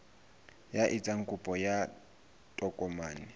ya etsang kopo ya tokomane